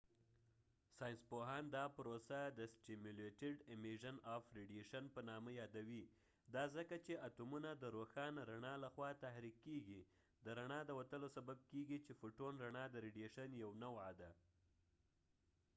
ساینسپوهان دا پروسه د سټیمیولیټډ امیژن اف ریډیشن په نامه یادوي ، دا ځکه چې اتومونه د روښانه رڼا له خوا تحریک کېږی د فوټون photonد رڼا د وتلو سبب کېږی چې رڼا د ریډیشن یو نوعه ده